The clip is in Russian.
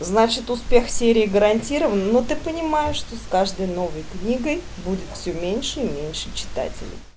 значит успех серии гарантирован ну ты понимаешь что с каждой новой книгой будет всё меньше и меньше читателей